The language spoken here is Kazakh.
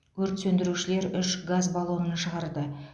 өрт сөндірушілер үш газ баллонын шығарды